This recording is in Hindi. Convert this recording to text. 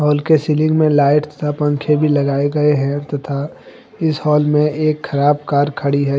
हॉल के सीलिंग में लाइट तथा पंखे भी लगाए गए हैं तथा इस हाल में एक खराब कार खड़ी है।